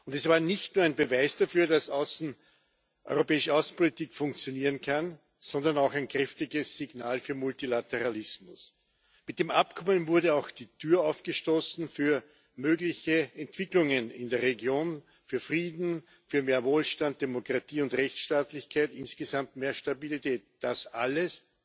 Es war nicht nur ein Beweis dafür, dass europäische Außenpolitik funktionieren kann, sondern auch ein kräftiges Signal für Multilateralismus. Mit dem Abkommen wurde auch die Tür aufgestoßen für mögliche Entwicklungen in der Region, für Frieden, für mehr Wohlstand, Demokratie und Rechtsstaatlichkeit, insgesamt mehr Stabilität das alles